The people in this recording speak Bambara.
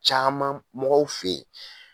Caaman mɔgɔw fe ye